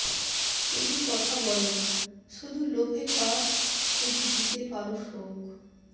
শুধু কথা বলো শুধু লোভে পাপ শুধু দিতে পারো শোক